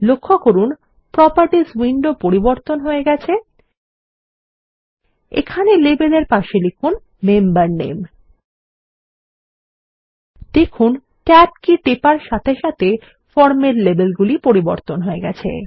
লক্ষ্য করুন properties window পরিবর্তন হয়ে গেছে এখানে লেবেল এর পাশে লিখুন মেম্বার নামে দেখুন ট্যাব কি টেপার সাথে সাথে ফর্মের লেবেলগুলি পরিবর্তন হয়ে গেছে